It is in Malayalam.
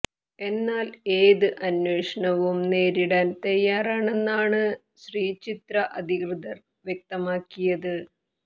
എന്നാൽ ഏത് അന്വേഷണവും നേരിടാൻ തയ്യാറാണെന്നാണ് ശ്രീചിത്ര അധികൃതർ വ്യക്തമാക്കിയത്